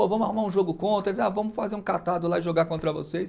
Vamos arrumar um jogo contra, ah vamos fazer um catado lá e jogar contra vocês.